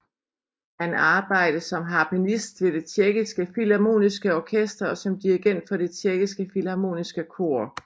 Han arbejde som harpenist ved Det Tjekkiske Filharmoniske Orkester og som dirigent for Det Tjekkiske Filharmoniske Kor